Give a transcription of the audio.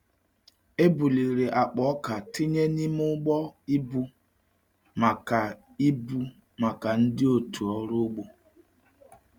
E buliri akpa ọka tinye n’ime ụgbọ ibu maka ibu maka ndị otu ọrụ ugbo.